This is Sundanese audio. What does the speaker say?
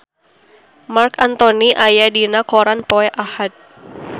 Marc Anthony aya dina koran poe Ahad